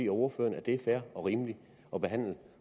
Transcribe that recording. ordføreren at det er fair og rimeligt at behandle